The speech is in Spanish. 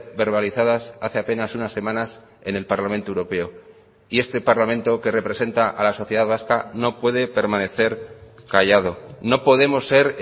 verbalizadas hace apenas unas semanas en el parlamento europeo y este parlamento que representa a la sociedad vasca no puede permanecer callado no podemos ser